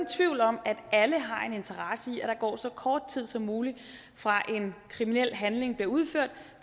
tvivl om at alle har en interesse i at der går så kort tid som muligt fra at en kriminel handling bliver udført